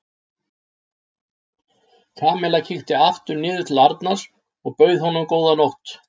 Kamilla kíkti aftur niður til Arnars og bauð honum góða nótt.